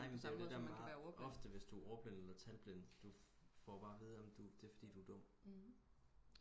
nej men det er jo det der meget ofte hvis du er ordblind eller talblind kan du får du jo bare at vide at det er fordi du er dum